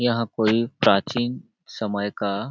यहां कोई प्राचीन समय का --